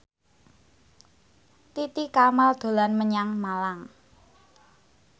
Titi Kamal dolan menyang Malang